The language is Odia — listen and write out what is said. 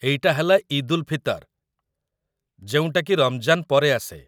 ଏଇଟା ହେଲା ଇଦ୍‌ ଉଲ୍ ଫିତର୍, ଯେଉଁଟାକି ରମଜାନ ପରେ ଆସେ ।